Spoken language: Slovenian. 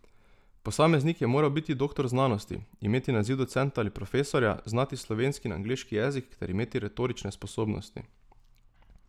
Posameznik je moral biti doktor znanosti, imeti naziv docenta ali profesorja, znati slovenski in angleški jezik ter imeti retorične sposobnosti.